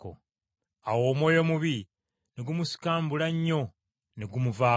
Awo omwoyo omubi ne gumusikambula nnyo, ne gumuvaako.